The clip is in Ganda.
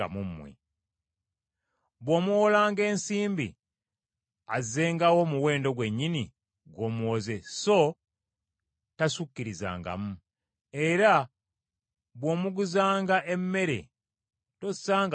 Bw’omuwolanga ensimbi azzengawo omuwendo gwennyini gw’omuwoze so tasukkirizangamu. Era bw’omuguzanga emmere tossangamu magoba.